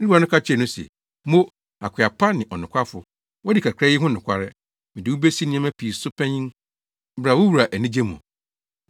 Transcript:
“Ne wura no ka kyerɛɛ no se, ‘Mo, akoa pa ne ɔnokwafo, woadi kakra yi ho nokware, mede wo besi nneɛma pii so panyin. Bra, wo wura anigye mu!’